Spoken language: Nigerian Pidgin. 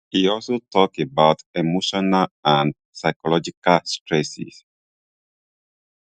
e also tok about emotional and psychological stresses